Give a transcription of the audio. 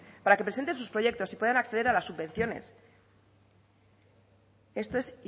para que presenten sus proyectos y puedan acceder a las subvenciones esto es